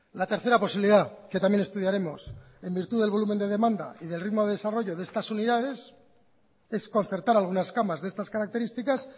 la tercera posibilidad que también estudiaremos en virtud del volumen de demanda y del ritmo de desarrollo de estas unidades es concertar algunas camas de estas características